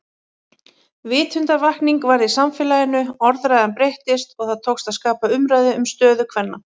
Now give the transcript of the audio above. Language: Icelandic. Vitundarvakning varð í samfélaginu, orðræðan breyttist og það tókst að skapa umræðu um stöðu kvenna.